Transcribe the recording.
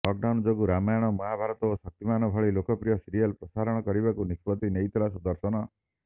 lockdown ଯୋଗୁଁ ରାମାୟଣ ମହାଭାରତ ଓ ଶକ୍ତିମାନ୍ ଭଳି ଲୋକପ୍ରିୟ ସିରିଏଲ୍ ପ୍ରସାରଣ କରିବାକୁ ନିଷ୍ପତ୍ତି ନେଇଥିଲା ଦୂରଦର୍ଶନ